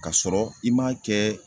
Kasɔrɔ i m'a kɛ